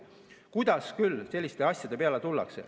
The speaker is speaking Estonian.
Kuidas küll selliste asjade peale tullakse?